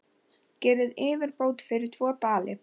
Gerið yfirbót fyrir tvo dali!